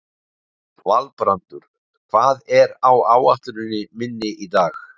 Valbrandur, hvað er á áætluninni minni í dag?